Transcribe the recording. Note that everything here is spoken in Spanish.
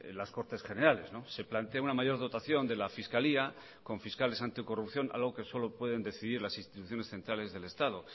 las cortes generales se plantea una mayor dotación de la fiscalía con fiscales anticorrupción algo que solo pueden decidir las instituciones centrales del estado